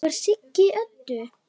Það var Siggi Öddu.